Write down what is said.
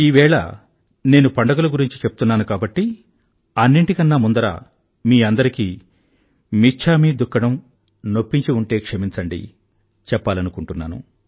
ఈవేళ నేను పండుగల గురించి చెప్తున్నాను కాబట్టి అన్నింటికన్నా ముందర మీ అందరికీ మిచ్ఛామి దుక్కడం నొప్పించి ఉంటే క్షమించండి అని చెప్పాలనుకుంటున్నాను